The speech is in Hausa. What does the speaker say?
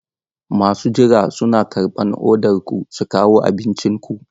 Masu jira suna karɓan odar ku su kawo abincin ku.